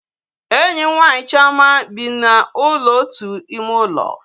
Enyi m nwaanyị Chioma bi na ụlọ otu ime ụlọ